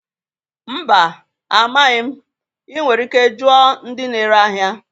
Mba, amaghị m. Ị nwere ike jụọ ndị na-ere ahịa.